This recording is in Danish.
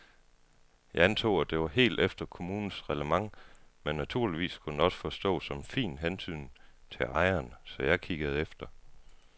Jeg antog, at det var helt efter kommunens reglement men naturligvis kunne det også forstås som en fin hentydning til ejeren, så jeg kiggede efter.